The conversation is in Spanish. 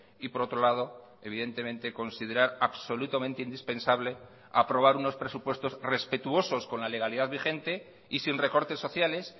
y por otro lado evidentemente considerar absolutamente indispensable aprobar unos presupuestos respetuosos con la legalidad vigente y sin recortes sociales